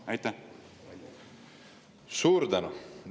Suur tänu!